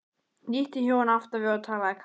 hnýtti Jón aftan við og talaði kalt.